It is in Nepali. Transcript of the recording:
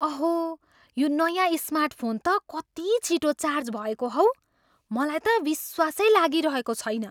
अहो, यो नयाँ स्मार्टफोन त कति छिटो चार्ज भएको हौ! मलाई त विश्वासै लागिरहेको छैन।